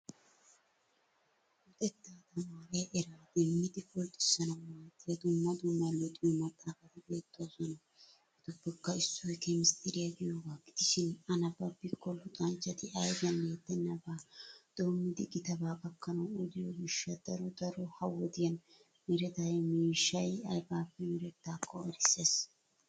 Luxetta tamaaree erraa demmidi pulrtisaanaeu maaddiya dumma dumma luxiyo maxaafati beettoosona. Etuppekka issoy keemistriya giyoogaa gidishin a nabbabikko luxanchchati ayfiyan bettenaban dommidi gitabaa gakkanawu odiyo gishsha daro daro ha wodiyan merettiya miishshay aybippe merettakko erisses.